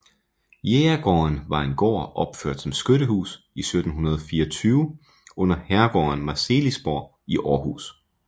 Jægergården var en gård opført som skyttehus i 1724 under herregården Marselisborg i Aarhus